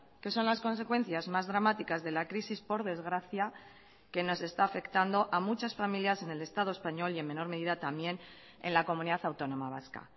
que son las consecuencias más dramáticas de la crisis por desgracia que nos está afectando a muchas familias en el estado español y en menor medida también en la comunidad autónoma vasca